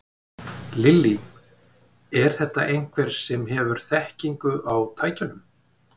Lillý: Er þetta einhver sem hefur þekkingu á tækjunum?